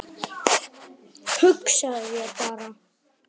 Hugsaðu þér bara